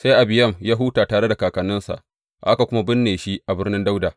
Sai Abiyam ya huta tare da kakanninsa, aka kuma binne shi a Birnin Dawuda.